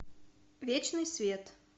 вечный свет